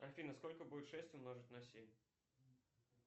афина сколько будет шесть умножить на семь